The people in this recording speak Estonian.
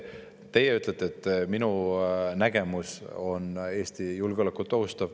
Teie ütlete, et minu nägemus ohustab Eesti julgeolekut.